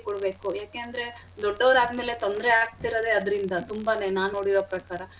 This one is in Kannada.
ಕೊಡ್ಬೇಕು ಯಾಕಂದ್ರೆ ದೊಡ್ಡೊರ್ ಆದ್ಮೇಲೆ ತೊಂದ್ರೆ ಆಗ್ತಿರದೆ ಅದ್ರಿಂದ ತುಂಬಾನೇ ನಾನ್ ನೋಡಿರೊ ಪ್ರಕಾರ.